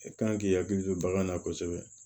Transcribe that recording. E kan k'i hakili to bagan na kosɛbɛ